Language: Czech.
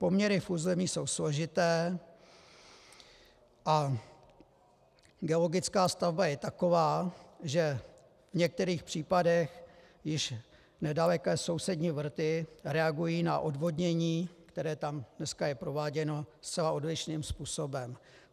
Poměry v území jsou složité a geologická stavba je taková, že v některých případech již nedaleké sousední vrty reagují na odvodnění, které tam dneska je prováděno, zcela odlišným způsobem.